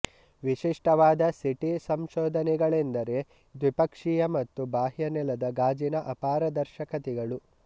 ವಿಶಿಷ್ಟವಾದ ಸಿಟಿ ಸಂಶೋಧನೆಗಳೆಂದರೆ ದ್ವಿಪಕ್ಷೀಯ ಮತ್ತು ಬಾಹ್ಯ ನೆಲದ ಗಾಜಿನ ಅಪಾರದರ್ಶಕತೆಗಳು